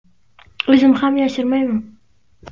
O‘zim ham yashirmayman.